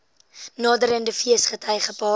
naderende feesgety gepaard